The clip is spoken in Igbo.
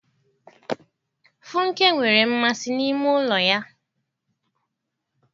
Funke nwere mmasị na ime ụlọ ya.